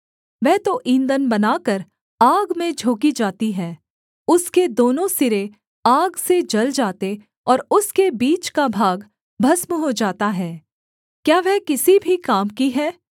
वह तो ईंधन बनाकर आग में झोंकी जाती है उसके दोनों सिरे आग से जल जाते और उसके बीच का भाग भस्म हो जाता है क्या वह किसी भी काम की है